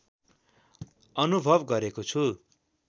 अनुभव गरेको छु